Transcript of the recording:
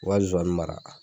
O ka zozani mara.